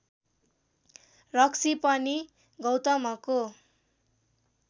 रक्सी पनि गौतमको